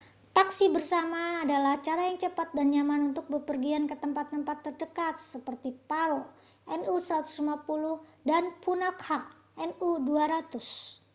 taksi bersama adalah cara yang cepat dan nyaman untuk bepergian ke tempat-tempat terdekat seperti paro nu 150 dan punakha nu 200